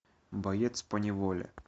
боец поневоле